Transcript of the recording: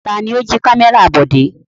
Ta ni ó jí kámẹ́rà Bọ̀dé?